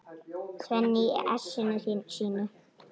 Svenni í essinu sínu.